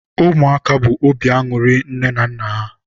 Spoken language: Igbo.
ụmụaka bụkwa obi anụrị nne na nna ha.